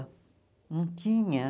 Não tinha.